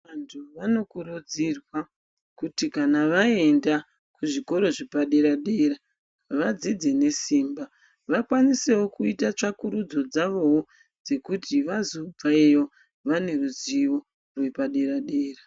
Vantu vano kurudzirwa kuti kana vaenda ku zvikoro zvepa dera dera vadzidze ne simba va kwanisewo kuita tsvakurudzo dzavowo dzekuti vazo bveyo vane ruzivo rwepa dera dera.